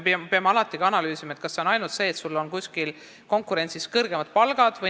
Me peame alati analüüsima, kas asi on ainult selles, et kuskil on kõrgemad palgad.